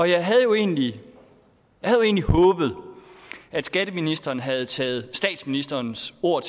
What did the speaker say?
jeg havde jo egentlig håbet at skatteministeren havde taget statsministerens ord